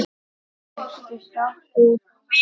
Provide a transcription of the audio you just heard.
Ertu sáttur við það?